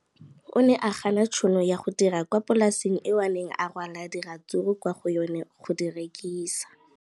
O ne a gana tšhono ya go dira kwa polaseng eo a neng rwala diratsuru kwa go yona go di rekisa.